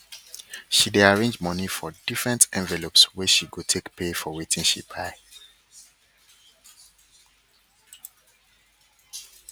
she dey arrange money for different envelopeswey she go take pay for wetin she wan buy